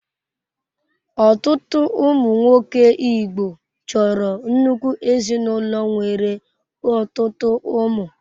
Ọtụtụ ụmụ nwoke Igbo chọrọ nnukwu ezinụlọ nwere ọtụtụ ụmụ.